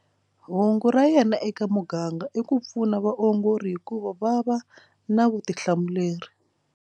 Hungu ra yena eka muganga i ku pfuna vaongori hikuva va va na vutihlamuleri.